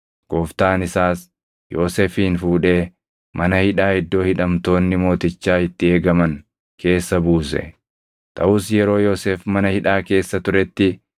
Gooftaan isaas Yoosefin fuudhee mana hidhaa iddoo hidhamtoonni mootichaa itti eegaman keessa buuse. Taʼus yeroo Yoosef mana hidhaa keessa turetti,